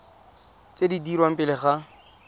tse di dirwang pele ga